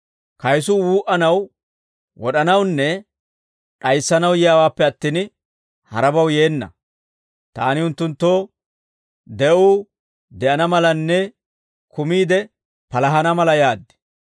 Kayisuu wuu"anaw, wod'anawunne d'ayissanaw yiyaawaappe attin, harabaw yeenna; taani unttunttoo de'uu de'ana malanne kumiide palahana mala yaad.